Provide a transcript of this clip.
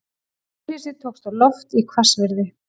Hjólhýsi tókst á loft í hvassviðri